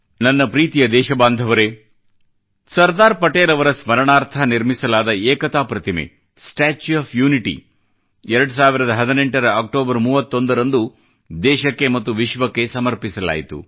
ನನ್ನ ಪ್ರೀತಿಯ ದೇಶ ಬಾಂಧವರೇ ಸರ್ದಾರ್ ಪಟೇಲ್ ಅವರ ಸ್ಮರಣಾರ್ಥ ನಿರ್ಮಿಸಲಾದ ಏಕತಾ ಪ್ರತಿಮೆ ಸ್ಟಾಚ್ಯೂ ಒಎಫ್ ಯುನಿಟಿ ಯನ್ನು 2018 ರ ಅಕ್ಟೋಬರ್ 31 ರಂದು ದೇಶಕ್ಕೆ ಮತ್ತು ವಿಶ್ವಕ್ಕೆ ಸಮರ್ಪಿಸಲಾಯಿತು